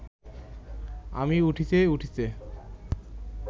আমি উঠিতে উঠিতে